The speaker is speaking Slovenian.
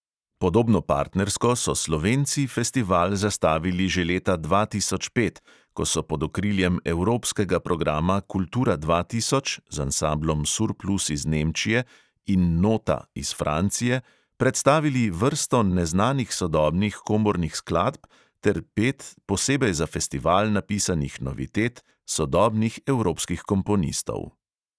Podobno partnersko so slovenci festival zastavili že leta dva tisoč pet, ko so pod okriljem evropskega programa kultura dva tisoč z ansamblom surplus iz nemčije in nota iz francije predstavili vrsto neznanih sodobnih komornih skladb ter pet posebej za festival napisanih novitet sodobnih evropskih komponistov.